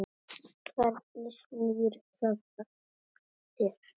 Hvernig snýr það að þér?